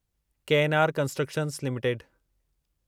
KNR constructions limited